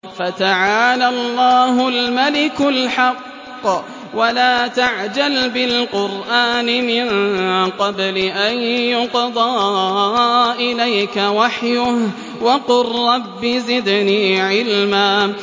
فَتَعَالَى اللَّهُ الْمَلِكُ الْحَقُّ ۗ وَلَا تَعْجَلْ بِالْقُرْآنِ مِن قَبْلِ أَن يُقْضَىٰ إِلَيْكَ وَحْيُهُ ۖ وَقُل رَّبِّ زِدْنِي عِلْمًا